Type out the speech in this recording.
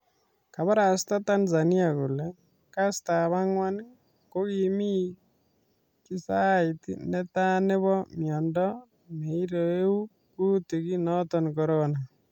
Kabarasta Tanzania kole kastab angwan kokimii kisait netaa nebo miondo neirogu kutik noton Corona